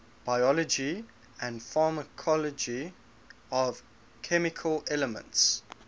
biology and pharmacology of chemical elements